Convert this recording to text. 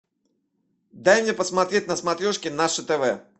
дай мне посмотреть на смотрешке наше тв